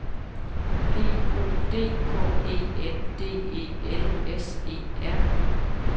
G O D K E N D E L S E R